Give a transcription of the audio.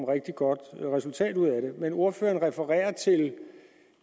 rigtig godt resultat ud af det men ordføreren refererer til